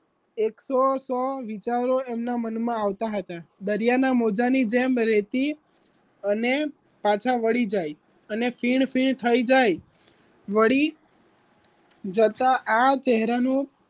એકસો સો વિચારો એમના મનમાં આવતા હતા દરિયાના મોજાની જેમ રેતી અને પાછા વળી જાય અને ફીણ ફીણ થઈ જાય વળી જતા આ ચહેરાનું